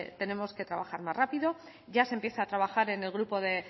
tenemos que trabajar más rápido ya se empieza a trabajar en el grupo de